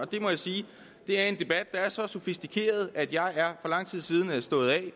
det må jeg sige at det er en debat der er så sofistikeret at jeg for lang tid siden er stået af